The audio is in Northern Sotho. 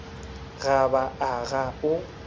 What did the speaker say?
ga ba a ga o